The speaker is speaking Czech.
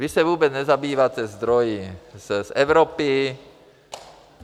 Vy se vůbec nezabýváte zdroji z Evropy.